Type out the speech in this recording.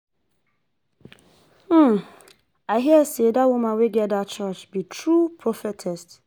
um I hear say dat woman wey get dat church be true Prophetess